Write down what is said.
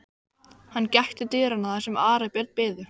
Hann gekk til dyranna þar sem Ari og Björn biðu.